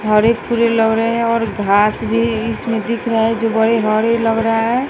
फरे फूले लग रहे हैं और घास भी इसमें दिख रहा है जो बड़े हरे लग रहा है।